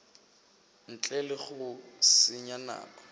ntle le go senya nako